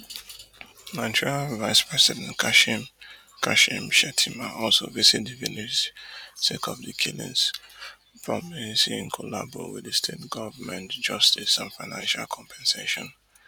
Nigerian Vice President kashim kashim shettima also visit di village sake of di killings promising in collabo wit di state goment justice and financial compensation